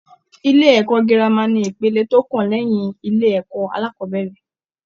Ilé-ẹ̀kọ́ gírámà ni ipele tó kàn lẹ́yìn ilé-ẹ̀kọ́ alákọ́bẹ̀rẹ̀.